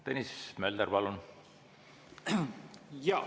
Tõnis Mölder, palun!